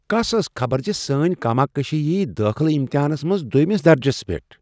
کس ٲس خبر زِ سٲنۍ کاماکشی یی دٲخلہٕ امتحانس منٛز دٚویمس درجس پیٹھ ؟